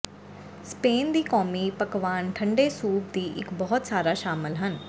Spain ਦੀ ਕੌਮੀ ਪਕਵਾਨ ਠੰਡੇ ਸੂਪ ਦੀ ਇੱਕ ਬਹੁਤ ਸਾਰਾ ਸ਼ਾਮਲ ਹਨ